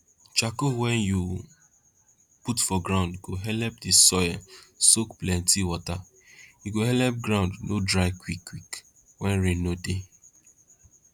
charcoal wen you put for ground go helep di soil soak plenti wata e go helep ground no dry quick quick wen rain no dey